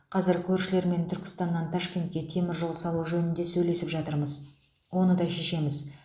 қазір көршілермен түркістаннан ташкентке теміржол салу жөнінде сөйлесіп жатырмыз оны да шешеміз